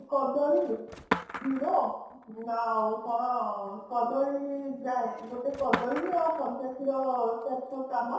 କଦଳୀ କ୍ଷୀର ଆଉ କଣ କଦଳୀ ଯାଏ ଗୋଟେ କଦଳୀ ଆଉ କଞ୍ଚା କ୍ଷୀର ପାଞ୍ଚ ଛ ଚାମଚ